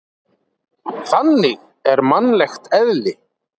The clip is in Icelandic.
Þannig er mannlegt eðli.